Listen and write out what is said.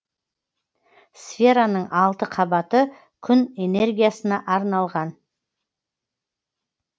сфераның алты қабаты күн энергиясына арналған